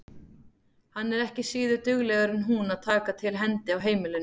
Hann er ekki síður duglegur en hún við að taka til hendi á heimilinu.